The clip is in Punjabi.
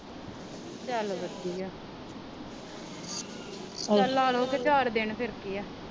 ਚਲ ਵਧੀਆ ਚਲ ਲਾ ਲੋ ਕੇ ਚਾਰ ਦਿਨ ਫਿਰ ਕੀ ਆ।